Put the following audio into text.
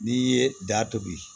N'i ye da tobi